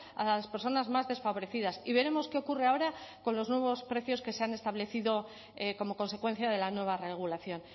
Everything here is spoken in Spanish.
a las personas más desfavorecidas y veremos qué ocurre ahora con los nuevos precios que se han establecido como consecuencia de la nueva regulación